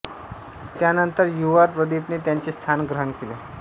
त्यानंतर U R Pradeep ने त्याचे स्थान ग्रहण केले